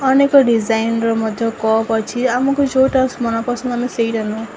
ଅନେକ ଡିଜାଇନ୍ ର ମଧ୍ୟ କପ୍ ଅଛି ଆମକୁ ଯୋଉଟା ମନ ପସନ୍ଦ ଆମେ ସେଇଟା ନବୁ।